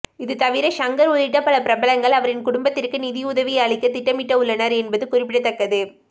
இதுதவிர ஷங்கர் உள்ளிட்ட பல பிரபலங்கள் அவரின் குடும்பத்திற்கு நிதியுதவி அளிக்க திட்டமிட்டு உள்ளனர் என்பது குறிப்பிடத்தக்கது